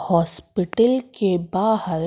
hospital के बाहर--